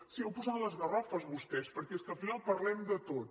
sí on posaran les garrofes vostès perquè és que al final parlem de tot